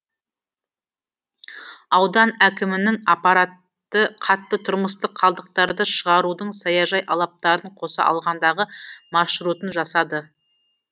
аудан әкімінің аппараты қатты тұрмыстық қалдықтарды шығарудың саяжай алаптарын қоса алғандағы маршрутын жасады